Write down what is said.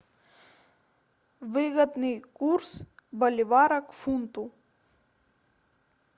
выгодный курс боливара к фунту